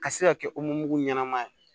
Ka se ka kɛ ɲɛnama ye